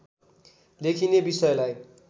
लेखिने विषयलाई